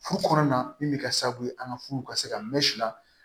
Furu kɔnɔna min bɛ kɛ sababu ye an ka furu ka se ka mɛ sila